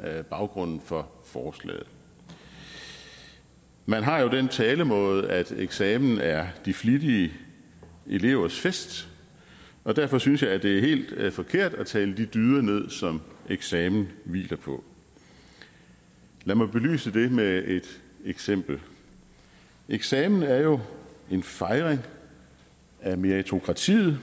er baggrunden for forslaget man har jo den talemåde at eksamen er de flittige elevers fest og derfor synes jeg at det er helt forkert at tale de dyder ned som eksamener hviler på lad mig belyse det med et eksempel eksamen er jo en fejring af meritokratiet